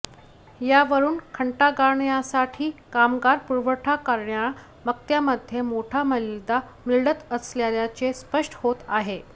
यावरून घंटागाड्यांसाठी कामगार पुरवठा करणार्या मक्त्यामध्ये मोठा मलिदा मिळत असल्याचेच स्पष्ट होत आहे